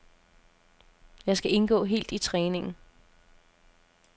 Jeg skal indgå helt i træningen.